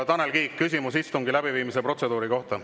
Tanel Kiik, küsimus istungi läbiviimise protseduuri kohta.